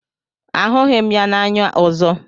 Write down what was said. Ahụghị m ya n'anya ọzọ.